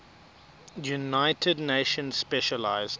united nations specialized